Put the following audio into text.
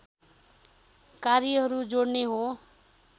कार्यहरू जोड्ने हो